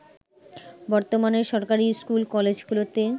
বর্তমানে সরকারী স্কুল-কলেজগুলোতে